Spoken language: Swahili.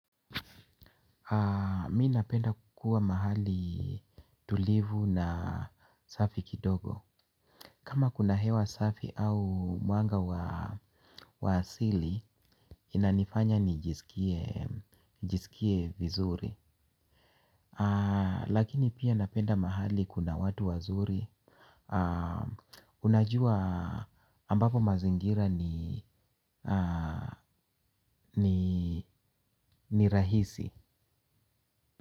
Mi napenda kukua mahali tulivu na safi kidogo. Kama kuna hewa safi au mwanga wa asili inanifanya nijisikie vizuri. Lakini pia napenda mahali kuna watu wazuri. Unajua ambapo mazingira ni rahisi.